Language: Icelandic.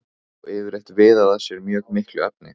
og yfirleitt viðað að sér mjög miklu efni.